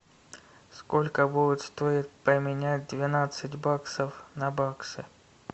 сколько будет стоить поменять двенадцать баксов на баксы